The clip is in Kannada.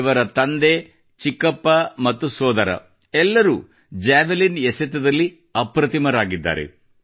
ಇವರ ತಂದೆ ಚಿಕ್ಕಪ್ಪ ಮತ್ತು ಸೋದರ ಎಲ್ಲರೂ ಭರ್ಚಿ ಎಸೆತದಲ್ಲಿ ಅಪ್ರತಿಮರಾಗಿದ್ದಾರೆ